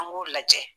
An b'o lajɛ